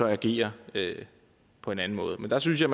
agere på en anden måde men der synes jeg